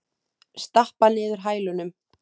Stappar niður hælunum.